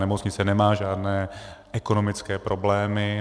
Nemocnice nemá žádné ekonomické problémy.